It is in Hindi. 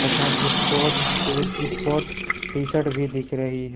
तथा sport shoe sport T shirt भी दिख रही है।